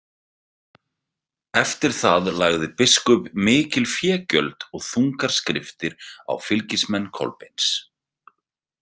Eftir það lagði biskup mikil fégjöld og þungar skriftir á fylgismenn Kolbeins.